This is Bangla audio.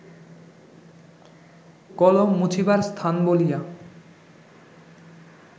কলম মুছিবার স্থান বলিয়া